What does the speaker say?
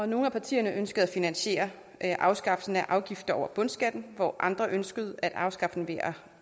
nogle af partierne ønskede at finansiere afskaffelsen af afgiften over bundskatten hvor andre ønskede at afskaffe den ved at